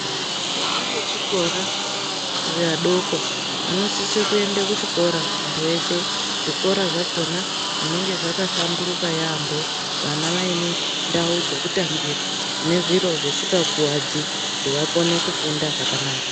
Vana vechikora vadoko vanosise kuende kuchikora muntu weshe, zvikora zvakona zvinenge zvakahlamburuka yambo vana vaine ndau dzekutambira dzine zviro zvisingakuwadzi kuti vakone kufunda zvakanaka.